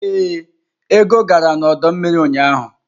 Ee, Ego gara n'ọdọ mmiri ụnyahụ.